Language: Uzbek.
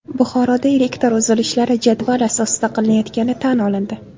Buxoroda elektr uzilishlari jadval asosida qilinayotgani tan olindi.